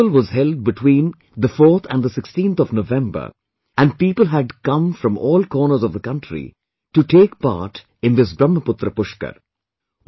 This festival was held between 4th and 16th November, and people had come from all corners of the country to take part in this Brahmaputra Pushkar